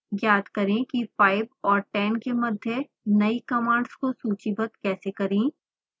ज्ञात करें कि 5 और 10 के मध्य नई कमांड्स को सूचीबद्ध कैसे करें